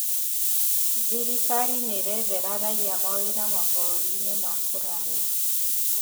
Thirikari nĩĩrethera raia mawĩra mabũrũri-inĩ ma kũraya